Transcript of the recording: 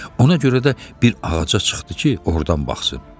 Ona görə də bir ağaca çıxdı ki, ordan baxsın.